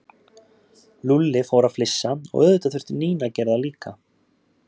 Lúlli fór að flissa og auðvitað þurfti Nína að gera það líka.